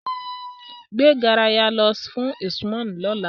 Gbe garaya naa lọ fun Usman lọla!